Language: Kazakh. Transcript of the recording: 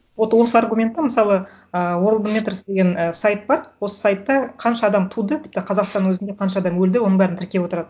вот осы аргументі мысалы ы деген сайт бар осы сайтта қанша адам туды тіпті қазақстанның өзінде қанша адам өлді оның бәрін тіркеп отырады